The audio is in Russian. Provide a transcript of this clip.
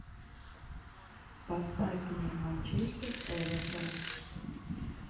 поставь мне манчестер эвертон